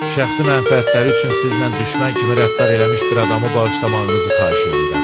Şəxsi mənafətləri üçün sizlə düşmən kimi rəftar eləmiş bir adamı bağışlamağınızı xahiş eləyirəm.